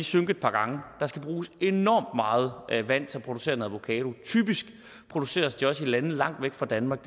synke et par gange der skal bruges enormt meget vand til at producere en avokado typisk produceres de også i lande langt væk fra danmark